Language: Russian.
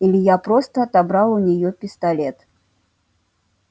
илья просто отобрал у нее пистолет